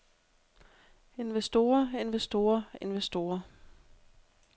investorer investorer investorer